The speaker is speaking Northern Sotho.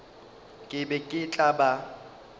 ke be ke tla ba